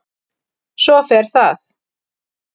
Svo fer það.